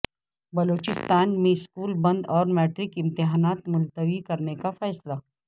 بلوچستان میں سکول بند اور میٹرک امتحانات ملتوی کرنے کا فیصلہ